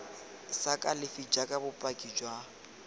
sa kalafi jaaka bopaki jwa